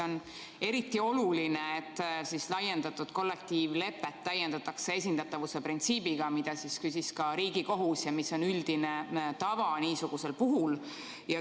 On eriti oluline, et laiendatud kollektiivlepet täiendatakse esindatavuse printsiibiga, mille kohta küsis ka Riigikohus ja mis on üldine tava niisugusel puhul.